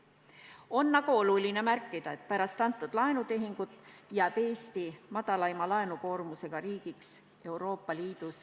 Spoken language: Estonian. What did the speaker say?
On aga oluline märkida, et pärast seda laenutehingut jääb Eesti ikkagi Euroopa Liidu väikseima laenukoormusega riigiks.